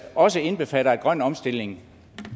også indbefatter at grøn omstilling